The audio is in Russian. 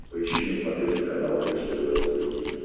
поищи на смотрешке канал бридж тв русский хит